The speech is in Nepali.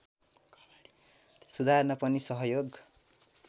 सुधार्न पनि सहयोग